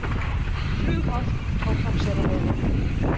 Flughált á Hrafnseyrarheiði